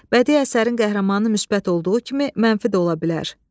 Bədii əsərin qəhrəmanı müsbət olduğu kimi, mənfi də ola bilər.